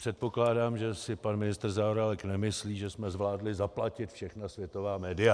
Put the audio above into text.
Předpokládám, že si pan ministr Zaorálek nemyslí, že jsme zvládli zaplatit všechna světová média.